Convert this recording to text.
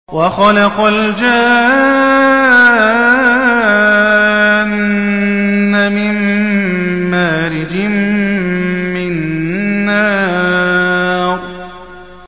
وَخَلَقَ الْجَانَّ مِن مَّارِجٍ مِّن نَّارٍ